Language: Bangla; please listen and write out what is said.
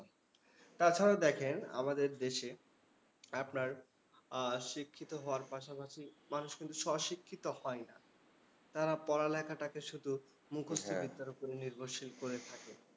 তাছাড়া দেখেন, আমাদের দেশে আপনার আহ শিক্ষিত হওয়ার পাশাপাশি মানুষ কিন্তু স্বশিক্ষিত হয় না। তারা পড়ালেখাটাকে শুধু মুখস্থ বিদ্যার ওপরে নির্ভরশীল করে থাকে।